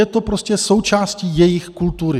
Je to prostě součástí jejich kultury.